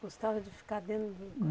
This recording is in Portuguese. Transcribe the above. Gostava de ficar dentro do